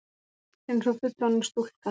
Einsog fullorðin stúlka.